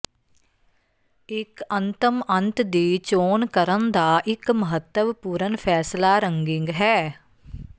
ਇੱਕ ਅੰਤਮ ਅੰਤ ਦੀ ਚੋਣ ਕਰਨ ਦਾ ਇੱਕ ਮਹੱਤਵਪੂਰਣ ਫੈਸਲਾ ਰੰਗਿੰਗ ਹੈ